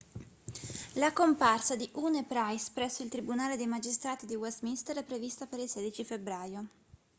la comparsa di huhne e pryce presso il tribunale dei magistrati di westminster è prevista per il 16 febbraio